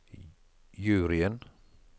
juryen